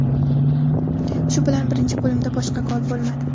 Shu bilan birinchi bo‘limda boshqa gol bo‘lmadi.